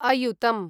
अयुतम्